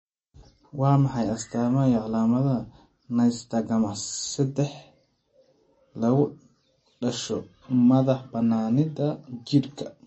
Waa maxay astamaha iyo calaamadaha Nystagmus sedex , lagu dhasho, madax-bannaanida jidhka?